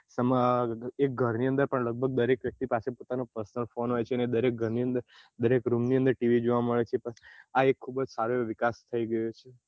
એમાં એક ઘર ની અંદર દરેક લોકો દરેક વ્યક્તિ પાસે પોતાનો personal ફોન હોય છે દરેક ઘર ની અંદર દરેક room ની અંદર tv જોવા મળે આ એક સારો એવો વિકાસ થઇ ગયો છે.